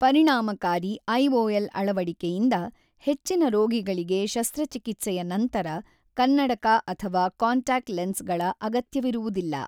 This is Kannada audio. ಪರಿಣಾಮಕಾರಿ ಐಓಎಲ್ ಅಳವಡಿಕೆಯಿಂದ ಹೆಚ್ಚಿನ ರೋಗಿಗಳಿಗೆ ಶಸ್ತ್ರಚಿಕಿತ್ಸೆಯ ನಂತರ ಕನ್ನಡಕ ಅಥವಾ ಕಾಂಟ್ಯಾಕ್ಟ್ ಲೆನ್ಸ್‌ಗಳ ಅಗತ್ಯವಿರುವುದಿಲ್ಲ .